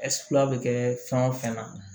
bɛ kɛ fɛn o fɛn na